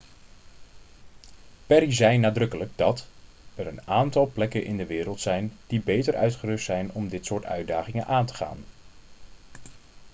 perry zei nadrukkelijk dat 'er een aantal plekken in de wereld zijn die beter uitgerust zijn om dit soort uitdagingen aan te gaan.'